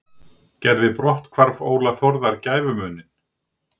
Gerði brotthvarf Óla Þórðar gæfumuninn?